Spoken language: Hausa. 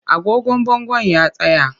Agogon bangon ya tsaya